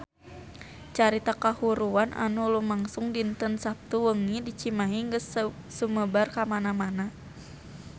Carita kahuruan anu lumangsung dinten Saptu wengi di Cimahi geus sumebar kamana-mana